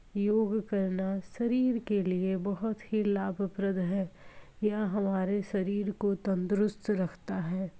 योग करना शरीर के लिए बहुत ही लाभप्रद है। यह हमारे शरीर को तंदरुस्त रखता है।